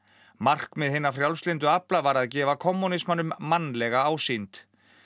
markmið hinna frjálslyndu afla var að gefa kommúnismanum mannlega ásýnd